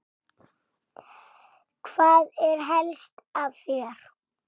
Hvað er helst að hér?